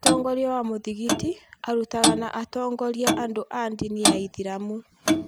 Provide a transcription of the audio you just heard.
Mũtongoria wa mũthigiti arutaga na agatongoria andũ a ndini ya ithĩramu